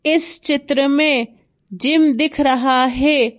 इस चित्र में जिम दिख रहा है।